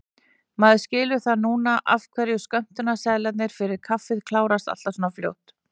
Maður skilur það núna af hverju skömmtunarseðlarnir fyrir kaffið klárast alltaf svona fljótt!